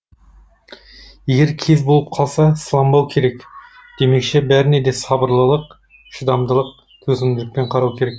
егер кез болып қалса салынбау керек демекші бәріне де сабырлылық шыдамдылық төзімділікпен қарау керек